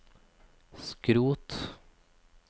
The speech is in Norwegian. skrot